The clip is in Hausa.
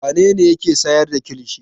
Wane ne yake sayar da kilishi?